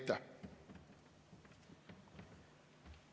Aitäh!